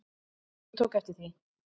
Ég tók eftir því.